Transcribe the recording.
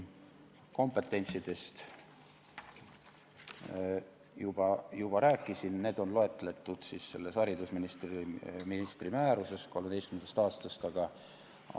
Kompetentsidest ma juba rääkisin, need on loetletud selles haridusministri 2013. aasta määruses.